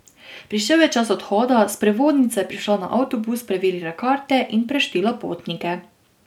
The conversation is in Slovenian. Prišel je čas odhoda, sprevodnica je prišla na avtobus, preverila karte in preštela potnike.